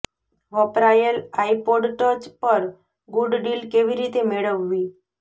વપરાયેલ iPod touch પર good deal કેવી રીતે મેળવવી